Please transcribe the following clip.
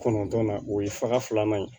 Kɔnɔntɔnnan o ye faga filanan ye